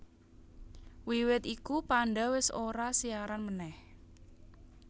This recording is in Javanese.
Wiwit iku Panda wis ora siaran meneh